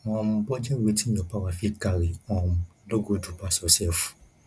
um budget wetin your power fit carry um no go do pass yourself